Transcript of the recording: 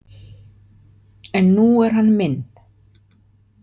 En nú er hann minn.